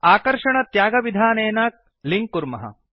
आकर्षण त्यागविधानेनड्र्याग्ड्राप् लिंक् कुर्मः